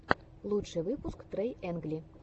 лучший выпуск трайэнгли